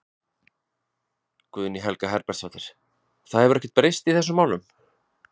Guðný Helga Herbertsdóttir: Það hefur ekkert breyst í þessum málum?